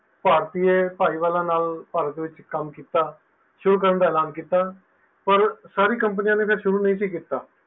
ਭਰਤੀਏ ਭਾਈ ਵਾਲਾਂ ਨਾਲ ਭਾਰਤ ਵਿਚ ਕੰਮ ਕੀਤਾ ਸ਼ੁਰੂ ਕਰਨ ਦਾ ਏਲਾਨ ਕੀਤਾ ਪਰ ਸਾਰੀਆਂ companies ਨੇ ਸੁਰੂ ਨੀ ਸੀ ਕੀਤਾ